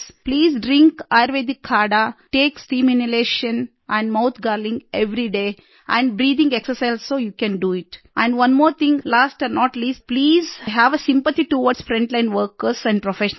please drink ayurvedic kadha ayurvedic kadha take steam inhalation and mouth gargling everyday and breathing exercise also you can do it and one more thing last and not the least please have a sympathy towards frontline workers and professionals